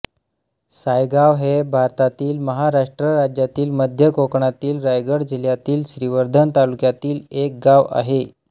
सायगाव हे भारतातील महाराष्ट्र राज्यातील मध्य कोकणातील रायगड जिल्ह्यातील श्रीवर्धन तालुक्यातील एक गाव आहे